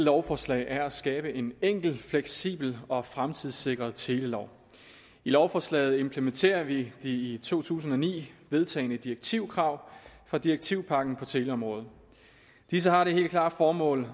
lovforslag er at skabe en enkel fleksibel og fremtidssikret telelov i lovforslaget implementerer vi de i to tusind og ni vedtagne direktivkrav fra direktivpakken på teleområdet disse har det helt klare formål